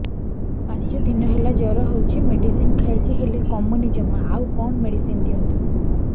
ପାଞ୍ଚ ଦିନ ହେଲା ଜର ହଉଛି ମେଡିସିନ ଖାଇଛି ହେଲେ କମୁନି ଜମା ଆଉ କଣ ମେଡ଼ିସିନ ଦିଅନ୍ତୁ